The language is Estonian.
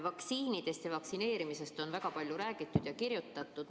Vaktsiinidest ja vaktsineerimisest on väga palju räägitud ja kirjutatud.